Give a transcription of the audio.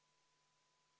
V a h e a e g